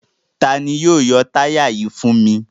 Ta ni yóò yọ táyà yìí fún mi?